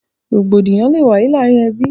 Rògbòdìyàn lè wáyé láàrin ẹbí